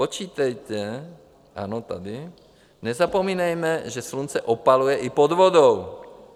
Počítejte, ano, tady, nezapomínejme, že slunce opaluje i pod vodou.